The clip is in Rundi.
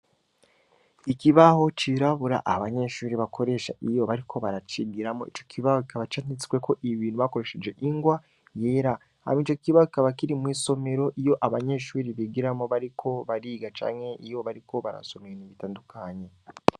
Ikibaho cirabura abanyeshuri bakoresha iyo bariko baracigiramo ico kibaho kikaba canditsweko ibintu bakoresheje ingwa yera ham ije kiba kaba kiri mw'isomero iyo abanyeshuri bigiramo bari ko bariga canke iyo bariko barasomeramibitandukanye.